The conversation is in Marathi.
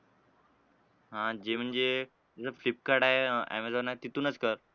आणि जे म्हणजे तुझं फ्लिपकार्ट आहे, ऍमेझॉन आहे तिथूनच कर.